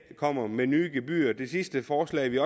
kommer med nye gebyrer i det sidste forslag vi